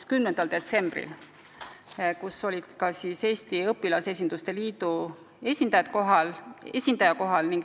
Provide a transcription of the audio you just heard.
10. detsembri istungil oli kohal ka Marcus Ehasoo, Eesti Õpilasesinduste Liidu esindaja.